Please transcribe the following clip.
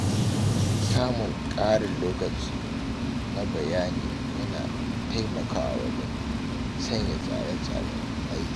Samun ƙarin lokaci na bayani yana taimakawa wajen sauya tsare-tsaren aiki.